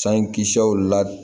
San kisɛw la